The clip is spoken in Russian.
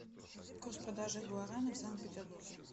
курс продажи гуарани в санкт петербурге